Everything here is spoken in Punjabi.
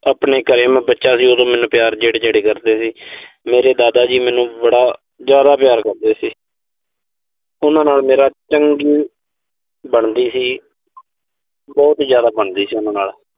ਆਪਣੇ ਘਰੇ ਮੈਂ ਬੱਚਾ ਸੀ, ਉਦੋਂ ਮੈਨੂੰ ਪਿਆਰ ਜਿਹੜੇ-ਜਿਹੜੇ ਸੀ। ਮੇਰੇ ਦਾਦਾ ਜੀ ਮੈਨੂੰ ਬੜਾ ਜ਼ਿਆਦਾ ਪਿਆਰ ਕਰਦੇ ਸੀ। ਉਨ੍ਹਾਂ ਨਾਲ ਮੇਰੀ ਚੰਗੀ ਬਣਦੀ ਸੀ। ਬਹੁਤ ਜ਼ਿਆਦਾ ਬਣਦੀ ਸੀ ਉਨ੍ਹਾਂ ਨਾਲ।